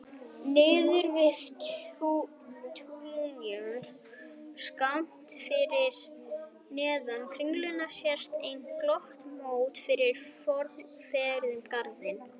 Niðri við túnjaðar, skammt fyrir neðan Kringlu sést enn glöggt móta fyrir fornum ferhyrndum garði.